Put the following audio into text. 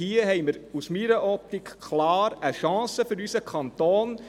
Hier haben wir aus meiner Optik klar eine Chance für unseren Kanton.